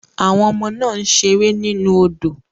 Àwọn ọmọ náà ń ṣeré nínú odò